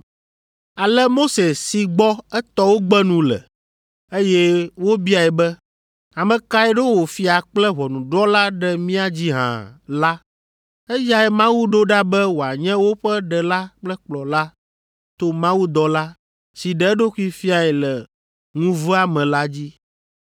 “Ale Mose si gbɔ etɔwo gbe nu le, eye wobiae be, ‘Ame kae ɖo wò fia kple ʋɔnudrɔ̃la ɖe mía dzi hã?’ la, eyae Mawu ɖo ɖa be wòanye woƒe ɖela kple kplɔla to mawudɔla, si ɖe eɖokui fiae le ŋuvea me la dzi.